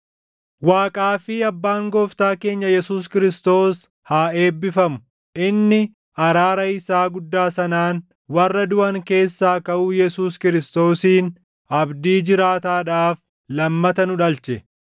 Waaqaa fi Abbaan Gooftaa keenya Yesuus Kiristoos haa eebbifamu! Inni araara isaa guddaa sanaan, warra duʼan keessaa kaʼuu Yesuus Kiristoosiin abdii jiraataadhaaf lammata nu dhalche;